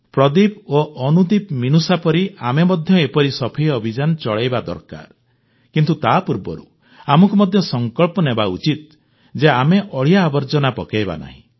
ପ୍ରଦୀପ ଓ ଅନୁଦୀପମିନୁଷାଙ୍କ ପରି ଆମେ ମଧ୍ୟ ଏପରି ସଫେଇ ଅଭିଯାନ ଚଳାଇବା ଦରକାର କିନ୍ତୁ ତା ପୂର୍ବରୁ ଆମକୁ ମଧ୍ୟ ସଂକଳ୍ପ ନେବା ଉଚିତ ଯେ ଆମେ ଅଳିଆ ଆବର୍ଜନା ପକାଇବା ନାହିଁ